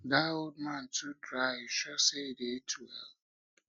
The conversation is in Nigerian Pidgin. dat old man too dry you sure say he dey eat well